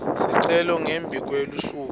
sicelo ngembi kwelusuku